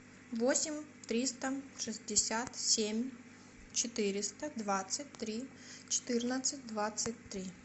восемь триста шестьдесят семь четыреста двадцать три четырнадцать двадцать три